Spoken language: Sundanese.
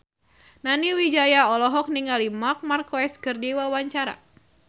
Nani Wijaya olohok ningali Marc Marquez keur diwawancara